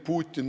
Putin.